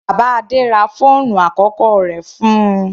Bàbá Adé ra fóònù àkọ́kọ́ rẹ̀ fún-un.